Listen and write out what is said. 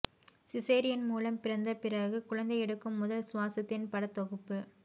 caesarean மூலம் பிறந்த பிறகு குழந்தை எடுக்கும் முதல் சுவாசத்தின் படத்தொகுப்பு